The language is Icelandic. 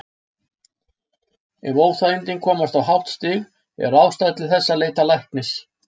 Ef óþægindin komast á hátt stig er ástæða til þess að leita læknis.